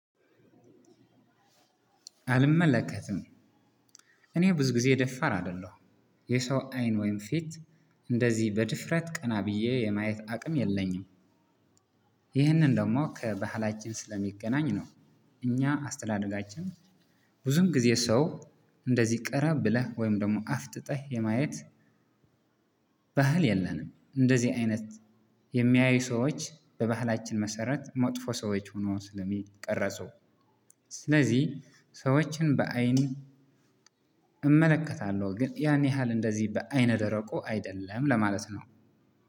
አልመለከትም። እኔ ብዙ ጊዜ ደፋር አይደለሁም። የሰው አይን ወይም ፊት እንደዚህ በድፍረት ቀና ብዬ የማየት አቅም የለኝም። ይህንን ደግሞ ከባህላችን ስለሚገናኝ ነው። እኛ አስተዳደጋችን ብዙም ጊዜ ሰው እንደዚህ ቀረብ ብለህ ወይም ደግሞ አፍጥጠህ የማየት ባህል የለንም። እንደዚህ አይነት የሚያዩ ሰዎች በባህላችን መሰረት መጥፎ ሰዎች ሆኖ ስለሚቀረጹ። ስለዚህ ሰዎችን በአይን እመለከታለሁ። ግን ያን ያህል እንደዚህ በአይነ ደረቆ አይደለም ለማለት ነው።